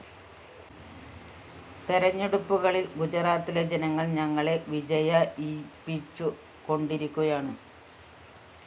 തെരഞ്ഞെടുപ്പുകളില്‍ ഗുജറാത്തിലെ ജനങ്ങള്‍ ഞങ്ങളെ വിജയയിപ്പിച്ചു കൊണ്ടിരിക്കുകയാണ്